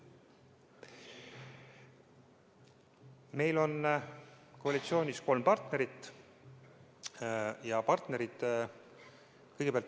Meil on koalitsioonis kolm partnerit.